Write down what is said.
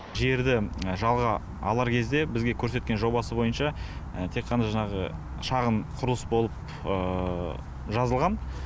жерді жалға алар кезде бізге көрсеткен жобасы бойынша тек қана жаңағы шағын құрылыс болып жазылған